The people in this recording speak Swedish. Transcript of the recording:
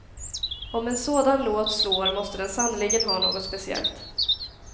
Om en sådan låt slår måste den sannerligen ha något speciellt.